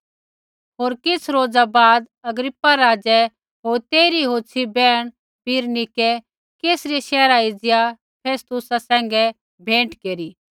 होर किछ़ रोज़ा बाद अग्रिप्पा राज़ै होर तेइरी होछ़ी बैहण बिरनीकै कैसरिया शैहरा एज़िया फेस्तुसा सैंघै भेंट केरी